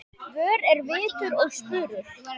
Vör er vitur og spurul